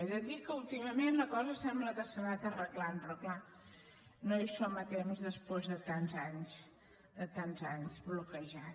he de dir que últimament la cosa sembla que s’ha anat arreglant però clar no hi som a temps després de tants anys bloquejada